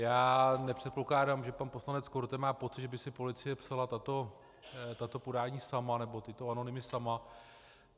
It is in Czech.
Já nepředpokládám, že pan poslanec Korte má pocit, že by si policie psala tato podání sama, nebo tyto anonymy sama.